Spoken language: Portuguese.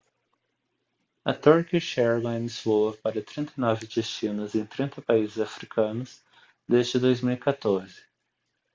a turkish airlines voa para 39 destinos em 30 países africanos desde 2014